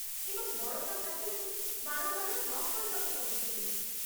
ଏବଂ ବଳକା ଖାଦ୍ୟକୁ ବାରମ୍ବାର ନ ଖାଇବାକୁ କହୁଥିଲେ।